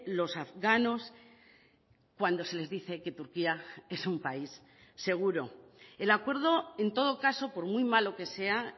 los afganos cuando se les dice que turquía es un país seguro el acuerdo en todo caso por muy malo que sea